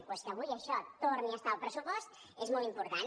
doncs que avui això torni a estar al pressupost és molt important